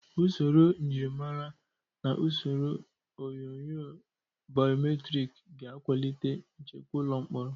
Usoro njirimara na usoro onyunyo baiometrik ga-akwalite nchekwa ụlọ mkpọrọ.